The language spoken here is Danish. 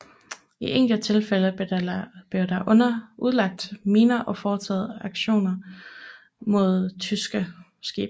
I enkelte tilfælde blev der udlagt miner og foretaget aktioner mod tyske skibe